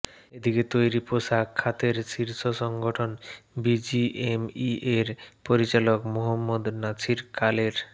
এদিকে তৈরি পোশাক খাতের শীর্ষ সংগঠন বিজিএমইএর পরিচালক মোহাম্মদ নাছির কালের